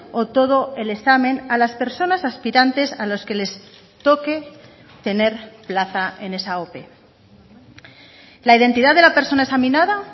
o todo el examen a las personas aspirantes a los que les toque tener plaza en esa ope la identidad de la persona examinada